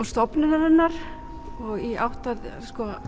stofnunarinnar í átt að